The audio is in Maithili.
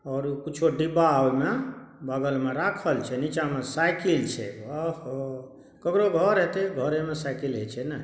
और उ कुछो डिब्बा ओय मे बगल मे राखल छै नीचा मे साइकिल छै ओहो ककरो घर हेटे घरे मे साइकिल होय छै ना---